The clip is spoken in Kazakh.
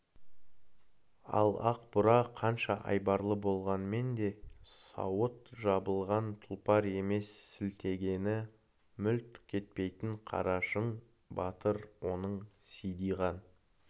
ал ақ бура қанша айбарлы болғанмен де сауыт жабылған тұлпар емес сілтегені мүлт кетпейтін қарашың батыр оның сидиған